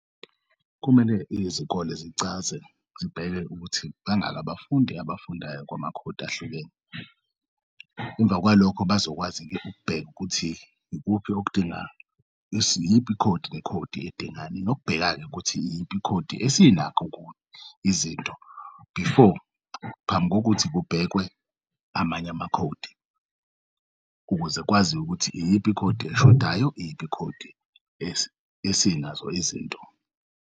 Kumele izikole zicaze zibheke ukuthi bangaki abafundi abafundayo kwamakhodi ahlukene, emva kwalokho bazokwazi-ukubheka ukuthi ikuphi iyiphi ikhodi nekhodi edingani nokubheka-ke ukuthi iyiphi ikhodi esinakho izinto before phambi kokuthi kubhekwe amanye amakhodi, ukuze kwaziwe ukuthi iyiphi ikhodi eshodayo, iyiphi ikhodi esinazo izinto.